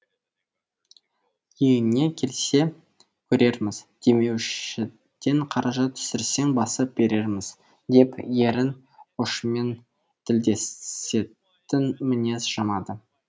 иіні келсе көрерміз демеушіден қаржы түсірсең басып берерміз деп ерін ұшымен тілдесетін мінез жамады